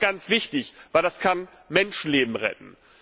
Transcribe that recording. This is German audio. Das ist ganz wichtig, denn das kann Menschenleben retten.